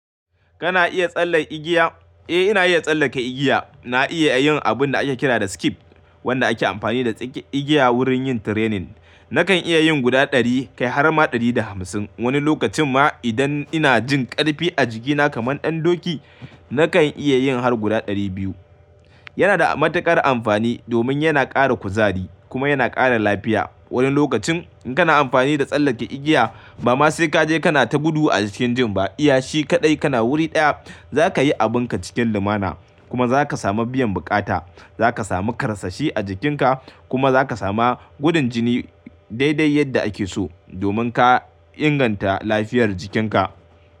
Kana iya tsalle igiya? Eh, ina iya tsallake igiya. Na iya yin abun da ake kira da skip, wanda ake amfani da tsake igiya wurin yin training. Nakan iya yin guda ɗari kai har ma ɗari da hamsin. Wani lokacin ma idan ina jin ƙarfi a jikina kamar ɗan doki, nakan iya yin har guda dari biyu. Yana da matuƙar amfani domin yana ƙara kuzari kuma yana ƙara lafiya. Wani lokacin in kana amfani da tsallake igiya ba ma sai ka je kana ta gudu a cikin gym ba. Iya shi kaɗai kana wuri ɗaya, za ka yi abun ka cikin lumana kuma za ka samu biyan buƙata. Za ka samu ƙarsashi a jikinka kuma za ka sama gudun jini daidai yadda ake so domin ka inganta lafiyar jikinka.